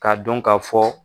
K'a dɔn ka fɔ